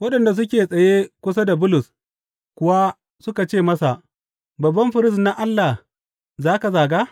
Waɗanda suke tsaye kusa da Bulus kuwa suka ce masa, Babban firist na Allah za ka zaga?